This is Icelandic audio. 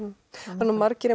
margir